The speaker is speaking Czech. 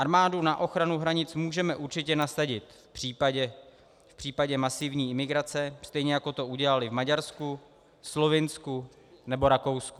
Armádu na ochranu hranic můžeme určitě nasadit v případě masivní imigrace, stejně jako to udělali v Maďarsku, Slovinsku nebo Rakousku.